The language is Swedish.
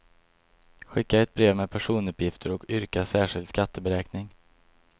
Skicka ett brev med personuppgifter och yrka särskild skatteberäkning.